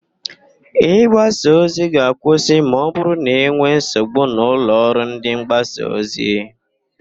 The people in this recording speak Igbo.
Ị gbasa ozi ga-akwụsị ma ọbụrụ na e nwee nsogbu n'ụlọ ọrụ ndịmgbasaozi